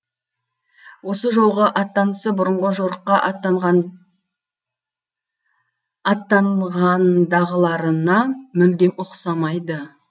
осы жолғы аттанысы бұрынғы жорыққа аттанғандағыларына мүлдем ұқсамайды